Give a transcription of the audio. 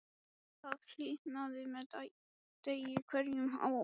Það hlýnaði með degi hverjum og